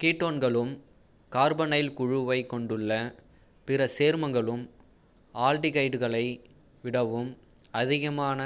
கீட்டோன்களும் carbonyl குழுவைக் கொண்டுள்ள பிற சேர்மங்களும் ஆல்டிகைடுகளை விடவும் அதிகமான